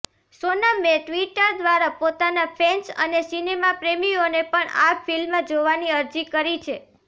સોનમે Twitter દ્વારા પોતાના fans અને સિનેમા પ્રેમીઓને પણ આ ફિલ્મ જોવાની અરજી કરી છે